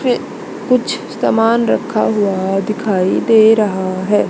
कुछ सामान रखा हुआ दिखाई दे रहा है।